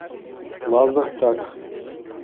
лазертаг